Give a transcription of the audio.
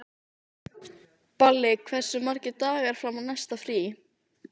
Balli, hversu margir dagar fram að næsta fríi?